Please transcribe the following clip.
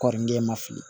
Kɔɔri den ma fili